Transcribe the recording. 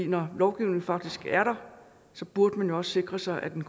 når lovgivningen faktisk er der burde man jo også sikre sig at den